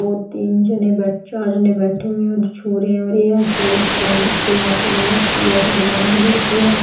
ओ तीन जने ब चार जने बैठे हुए हैं और छू रहे हैं और यह सेल्स गोल्ड की कोई माता की मूर्ति है फिर भगवान की मूर्ति है।